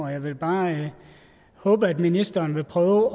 jeg vil bare håbe at ministeren vil prøve